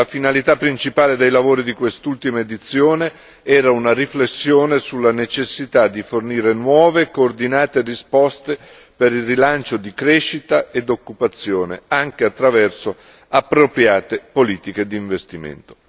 La finalità principale dei lavori di quest'ultima edizione era una riflessione sulla necessità di fornire nuove e coordinate risposte per il rilancio di crescita ed occupazione, anche attraverso appropriate politiche di investimento.